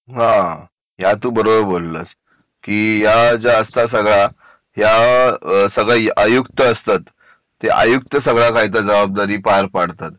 हा या तू बरोबर बोललास की या ज्या असता सगळा हे सगळे आयुक्त असतात ते आयुक्त सगळ्या जबाबदाऱ्या पार पाडतात